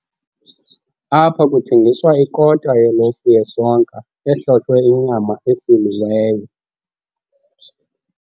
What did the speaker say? Apha kuthengiswa ikota yelofu yesonka ehlohlwe inyama esiliweyo.